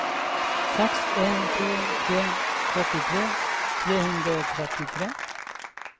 seks en to tre trettitre tre hundre og trettitre